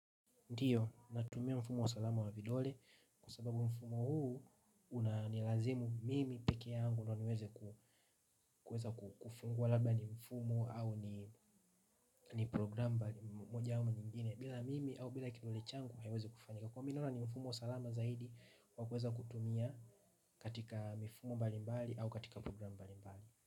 Ndiyo, natumia mfumo wa salama wa vidole kwa sababu mfumo huu unanilazimu mimi peke yangu ndio niweze kufungua labda ni mfumo au ni program basi imekuwa jambo nyingine bila mimi au bila kidole changu haiwezi kufungua. Kwa mimi naona ni mfumo wa salama zaidi wa kuweza kutumia katika mifumo mbalimbali au katika program mbalimbali.